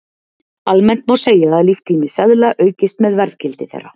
Almennt má segja að líftími seðla aukist með verðgildi þeirra.